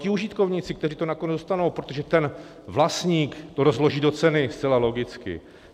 Ti užitkovníci, kteří to nakonec dostanou, protože ten vlastník to rozloží do ceny, zcela logicky.